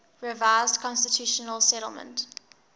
revised constitutional settlement